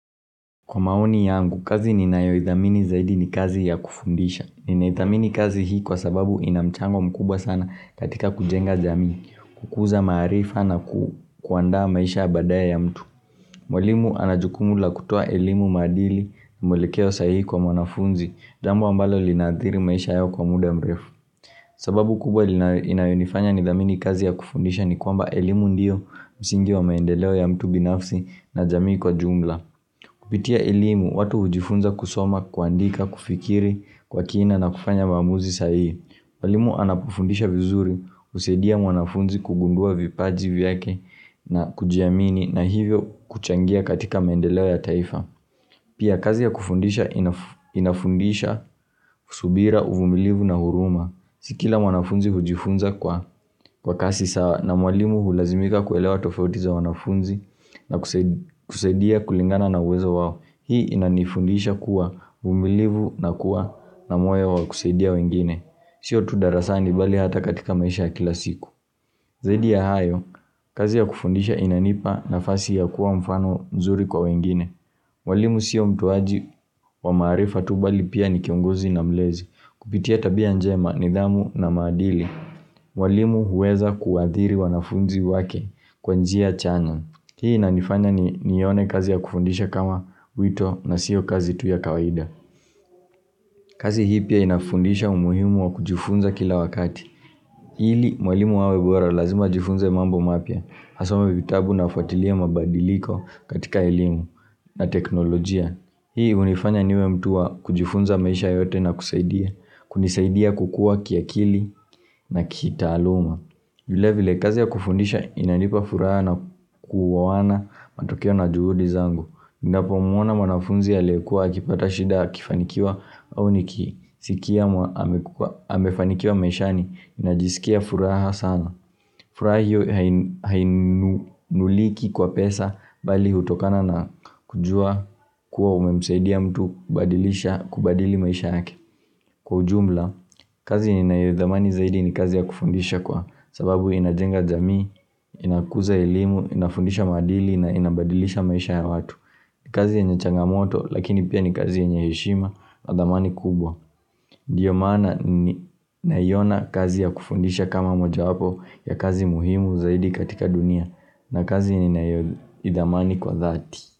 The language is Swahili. Kwa maoni yangu, kazi ninayo idhamini zaidi ni kazi ya kufundisha. Ninayo idhamini kazi hii kwa sababu inamchango mkubwa sana katika kujenga jamii, kukuza maarifa na kuandaa maisha ya baadaya ya mtu. Mwalimu anajukumu la kutoa elimu maadili na mwelekeo sahihi kwa mwanafunzi, jambo ambalo linathiri maisha yao kwa muda mrefu. Sababu kubwa inayo nifanya ni dhamini kazi ya kufundisha ni kwamba elimu ndiyo, msingi wa maendeleo ya mtu binafsi na jamii kwa jumla. Kupitia ilimu, watu hujifunza kusoma, kuandika, kufikiri kwa kina na kufanya maamuzi sahihi. Mwalimu anapufundisha vizuri, husadia mwanafunzi kugundua vipaji vyake na kujiamini na hivyo kuchangia katika mendeleo ya taifa. Pia kazi ya kufundisha inafundisha, subira, uvumilivu na huruma. Si kila mwanafunzi hujifunza kwa kasi sawa na mwalimu hulazimika kuelewa tofauti za wanafunzi na kusaidia kulingana na uwezo wao. Hii inanifundisha kuwa, uvumilivu na kuwa na moyo wa kusaidia wengine. Sio tu darasani bali hata katika maisha kila siku. Zaidi ya hayo, kazi ya kufundisha inanipa nafasi ya kuwa mfano mzuri kwa wengine. Mwalimu siyo mtoaji wa maarifa tu bali pia ni kiongozi na mlezi kupitia tabia njema nidhamu na maadili walimu huweza kuadhiri wanafunzi wake kwa njia chanya Hii nanifanya nione kazi ya kufundisha kama wito na siyo kazi tu ya kawaida kazi hii pia inafundisha umuhimu wa kujufunza kila wakati ili mwalimu awebora lazima ajifunze mambo mapya asome vitabu na afuatilie mabadiliko katika elimu na teknolojia Hiihunifanya niwe mtu wa kujifunza maisha yote na kusaidia, kunisaidia kukua kiakili na kitaluma. Vile vile kazi ya kufundisha inanipa furaha na kuoana matokeo na juhudi zangu. Ninapo manafunzi aliyekua, akipata shida, akifanikiwa au ni kisikia amefanikiwa maisha ninajisikia furaha sana. Furaha hiyo hainunuliki kwa pesa bali hutokana na kujua kuwa umemsaidia mtu kubadilisha kubadili maisha yake. Kwa ujumla, kazi ninayoidhamani zaidi ni kazi ya kufundisha kwa sababu inajenga jamii, inakuza elimu, inafundisha maadili na inabadilisha maisha ya watu. Ni kazi ya yenye changamoto lakini pia ni kazi yenye heshima na dhamani kubwa. Ndio maana ni naona kazi ya kufundisha kama moja wapo ya kazi muhimu zaidi katika dunia na kazi ni nayo idhamani kwa dhati.